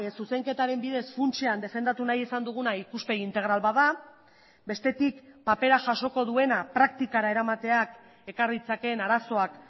zuzenketaren bidez funtsean defendatu nahi izan duguna ikuspegi integral bat da bestetik papera jasoko duena praktikara eramateak ekar ditzaken arazoak